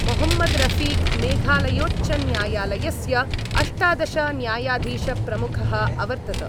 मोहम्मदरफिक मेघालयोच्चन्यायालयस्य अष्टादश न्यायाधीशप्रमुखः अवर्तत।